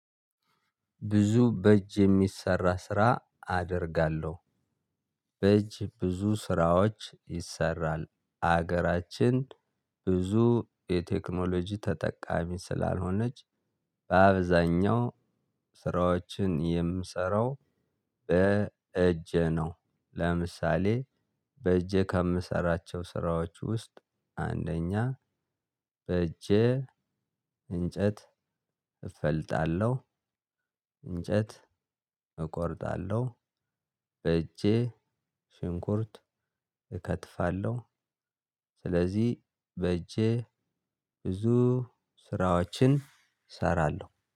ብዙ በእጅ የሚሰራ ስራ አደርጋለሁ በእጅ ብዙ ስራዎች ይሰራል ሀገራችን ብዙ የቴክኖሎጂ ተጠቃሚ ስላልሆነች በአብዛኛው ስራዎችን የምሰራው በእጄ ነው። ለምሳሌ በእጄ ከምሰራቸው ስራዎች ውስጥ አንደኛ በእጄ እንጨት እፈልጣለሁ እንጨት እቆርጣለሁ በእጄ ሽንኩርት እከትፋለሁ። ስለዚህ በእጄ ብዙ ስራዎችን እሰራለሁ